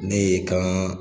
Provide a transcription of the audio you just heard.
Ne ye kan.